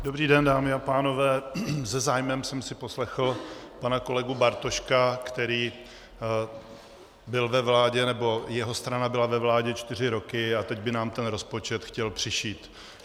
Dobrý den, dámy a pánové, se zájmem jsem si poslechl pana kolegu Bartoška, který byl ve vládě, nebo jeho strana byla ve vládě, čtyři roky, a teď by nám ten rozpočet chtěl přišít.